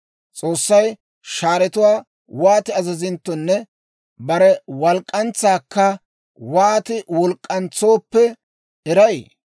S'oossay shaaratuwaa wooti azazinttonne bare walk'k'antsaakka wooti walk'k'antsintto eray?